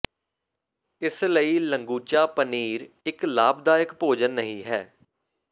ਇਸ ਲਈ ਲੰਗੂਚਾ ਪਨੀਰ ਇੱਕ ਲਾਭਦਾਇਕ ਭੋਜਨ ਨਹੀ ਹੈ